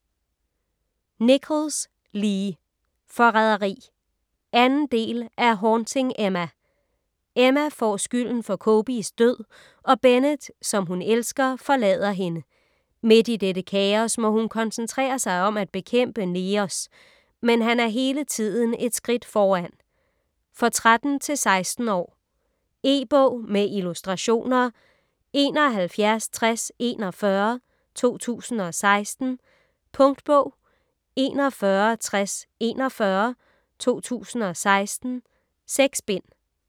Nichols, Lee: Forræderi 2. del af Haunting Emma. Emma får skylden for Cobys død og Bennett som hun elsker, forlader hende. Midt i dette kaos må hun koncentrere sig om at bekæmpe Neos. Men han er hele tiden et skridt foran ... For 13-16 år. E-bog med illustrationer 716041 2016. Punktbog 416041 2016. 6 bind.